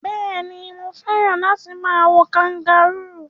Béèni, mo fẹ́ràn láti ma wo kangaroo